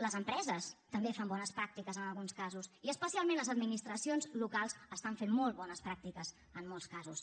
les empreses també fan bones pràctiques en alguns casos i especialment les administracions locals fan molt bones pràctiques en molts casos